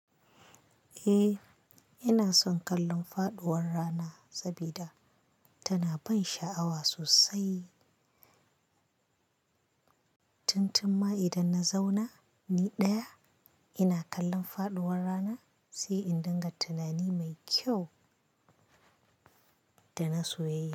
Eh, ina son kallon faɗuwar rana sabida, tana ban sha'awa sosai. Tun tunma idan na zauna ni ɗaya, ina kallon faɗuwar rana, sai in dinga tunani mai kyau, da na soyayya.